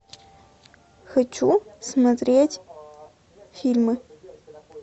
хочу смотреть фильмы